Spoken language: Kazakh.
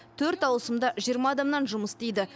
төрт ауысымда жиырма адамнан жұмыс істейді